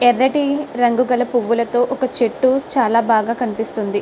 ఎర్రటి రంగు గల పువ్వులతో ఒక చెట్టు చాలా బాగా కనిపిస్తుంది.